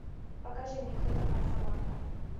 покажи мне кто такая саманта